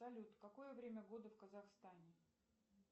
салют какое время года в казахстане